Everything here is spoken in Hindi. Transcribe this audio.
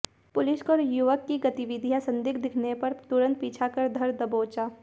पुलिस को युवक की गतिविधियां संदिग्ध दिखने पर तुरंत पीछा कर धर दबोचा